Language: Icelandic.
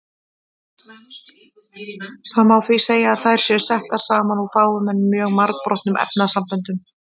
Það má því segja að þær séu settar saman úr fáum en mjög margbrotnum efnasamböndum.